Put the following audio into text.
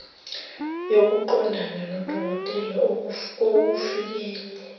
yokuqondana nodokotela okufikele